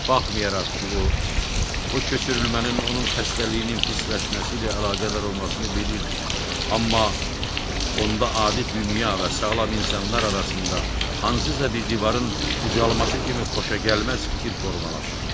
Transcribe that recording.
Baxmayaraq ki, o, bu köçürülmənin onun xəstəliyinin pisləşməsi ilə əlaqədar olmasını bilirdi, amma onda adi dünya və sağlam insanlar arasında hansısa bir divarın ucalması kimi xoşagəlməz fikir formalaşırdı.